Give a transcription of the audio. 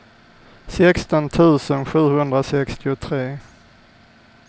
sexton tusen sjuhundrasextiotre